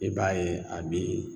I b'a ye a be